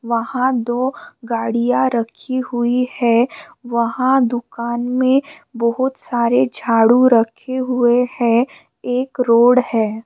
वहां दो गाड़िया रखी हुई है वहां दुकान में बहुत सारे झाड़ू रखे हुए है एक रोड है।